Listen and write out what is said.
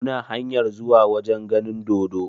Muna hanyar zuwa wajen ganin dodo.